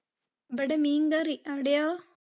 ഇവിടെ മീൻകറി. അവിടെയോ?